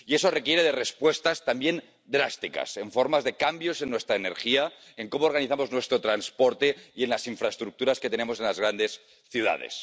Y eso requiere de respuestas también drásticas, en forma de cambios en nuestra energía, en cómo organizamos nuestro transporte y en las infraestructuras que tenemos en las grandes ciudades.